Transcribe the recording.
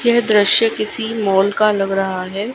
यह दृश्य किसी मॉल का लग रहा है।